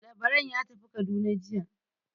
Labaran ya tafi Kaduna jiya.